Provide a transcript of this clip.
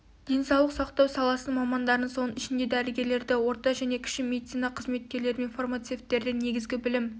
денсаулық сақтау саласының мамандарын соның ішінде дәрігерлерді орта және кіші медицина қызметкерлері мен фармацевттерді негізгі білім